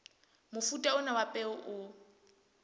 mofuta ona wa peo o